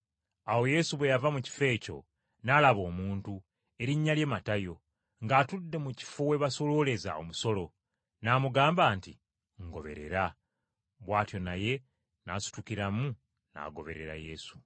Awo Yesu bwe yava mu kifo ekyo n’alaba omuntu, erinnya lye Matayo, ng’atudde mu kifo we basolooleza omusolo, n’amugamba nti, “Ngoberera.” Bw’atyo naye n’asitukiramu n’agoberera Yesu.